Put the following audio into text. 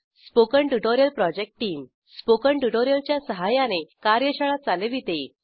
spoken tutorial project team spoken tutorial च्या सहाय्याने कार्यशाळा चालविते